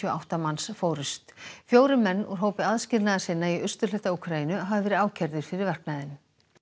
átta manns fórust fjórir menn úr hópi aðskilnaðarsinna í austurhluta Úkraínu hafa verið ákærðir fyrir verknaðinn